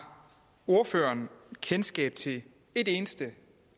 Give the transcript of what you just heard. ordføreren kendskab til et eneste